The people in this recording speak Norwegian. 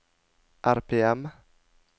RPM